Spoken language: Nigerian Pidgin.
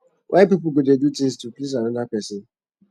why people go dey do things to please another person